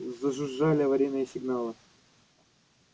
зажужжали аварийные сигналы